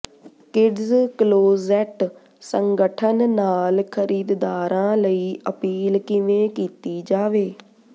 kids closet ਸੰਗਠਨ ਨਾਲ ਖਰੀਦਦਾਰਾਂ ਲਈ ਅਪੀਲ ਕਿਵੇਂ ਕੀਤੀ ਜਾਵੇ